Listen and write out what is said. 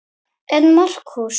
En Markús